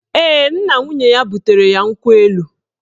Ee, nna nwunye ya butere ya nkwụ elu